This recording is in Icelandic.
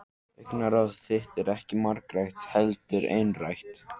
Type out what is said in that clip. Augnaráð þitt er ekki margrætt heldur einrætt.